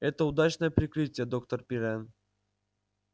это удачное прикрытие доктор пиренн